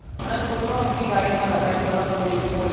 અને છોકરાઓ એમની ગાડી માં લખાયી ને ફરે પોલીસ પોલીસ